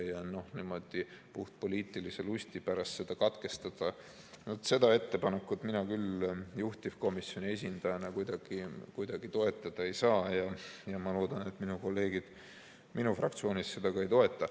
Niimoodi puhtpoliitilise lusti pärast seda lugemist katkestada – seda ettepanekut mina küll juhtivkomisjoni esindajana kuidagi toetada ei saa ja ma loodan, et minu kolleegid minu fraktsioonist seda ka ei toeta.